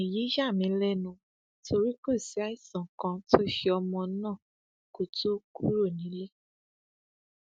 èyí yà mí lẹnu torí kò sí àìsàn kan tó ṣe ọmọ náà kó tóó kúrò nílé